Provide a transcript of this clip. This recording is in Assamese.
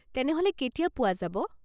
তেনেহ'লে কেতিয়া পোৱা যাব?